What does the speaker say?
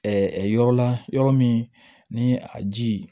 yɔrɔ la yɔrɔ min ni a ji